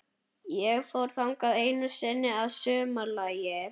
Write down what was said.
Ég fór þangað einu sinni að sumarlagi.